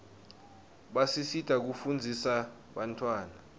basisita kufundzisa bantawana